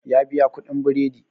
Ya biya kuɗin biredi